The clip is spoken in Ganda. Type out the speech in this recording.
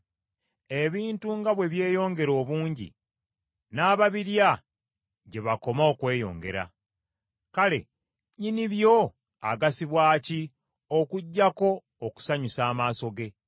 Ebintu nga bwe byeyongera obungi, n’ababirya gye bakoma okweyongera. Kale nnyini byo agasibwa ki, okuggyako okusanyusa amaaso ge?